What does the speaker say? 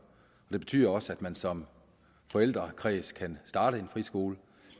det betyder også at man som forældrekreds kan starte en friskole